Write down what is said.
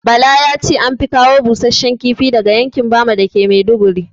Bala yace anfi kawo busashshen kifi daga yankin bama dake maiduguri